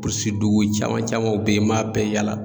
Burundi dugu caman camanw be yen n b'a bɛɛ yaala